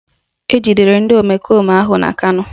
Ejidere ndị omekome ahụ na Kano